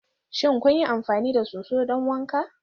Shin kun yi amfani da soso don wanka?